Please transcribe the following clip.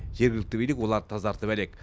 жергілікті билік оларды тазартып әлек